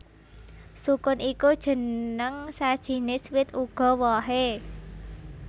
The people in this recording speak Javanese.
Sukun iku jeneng sajinis wit uga wohé